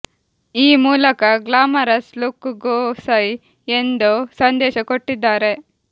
ಈ ಮೂಲಕ glamorous look ಗೂ ಸೈ ಎಂದು ಸಂದೇಶ ಕೊಟ್ಟಿದ್ದಾರೆ